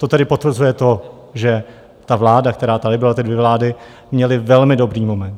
To tedy potvrzuje to, že ta vláda, která tady byla, ty dvě vlády, měly velmi dobrý moment.